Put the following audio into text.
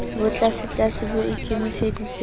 bo tlasetlase bo ikemiseditse ho